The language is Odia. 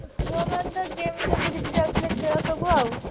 ପୁଅମାନେ ତ game ସବୁ ଜିତିଯିଥିଲେ ଖେଳ ସବୁ ଆଉ